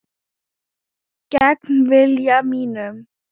Gegn vilja mínum.